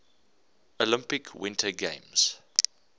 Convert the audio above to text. olympic winter games